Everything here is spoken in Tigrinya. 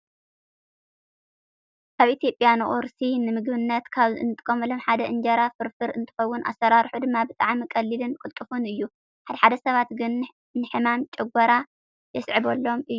ኣብ ኢትዮጵያ ንቁርሲ ንምግብነት ካብ እንጥቀመሎም ሓደ እንጀራ ፍርፍር እንተኾውን ኣሰራርሑ ድማ ብጣዕሚ ቀሊልንን ቅልጡፍን እዩ። ሓደ ሓደ ሰባት ግን ንሕማም ጨጎራ የስዕበሎም እዩ።